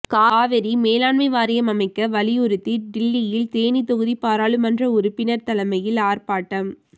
காவிரி மேலாண்மை வாரியம் அமைக்க வலியுறுத்தி டில்லியில் தேனி தொகுதி பாராளுமன்ற உறுப்பினர் தலைமையில் ஆர்ப்பாட்டம்